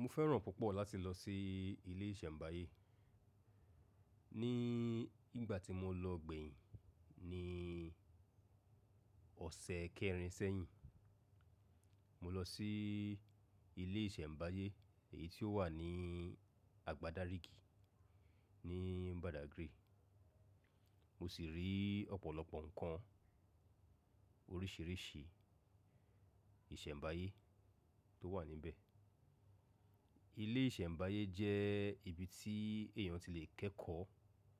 Mo fẹ́ràn púpọ̀ láti lọ sí ilé ìsẹ̀mbáyé. Ní ìgbà tí mo lọ gbẹ̀yìn ní ọ̀sẹ̀ kẹrin sẹ́yìn, mo lọ sí ilé ìsẹ̀mbáyé èyí tó wà ní àgbàdaríìgì ní Badagry. Mo sì rí ọ̀pọ̀lọpọ̀ ǹkan oríṣìíríṣìí ìsẹ̀mbáyé tó wà níbẹ̀. Ilé ìsẹ̀mbáyé jẹ́ ibi tí èèyàn ti le kẹ́kọ̀ọ́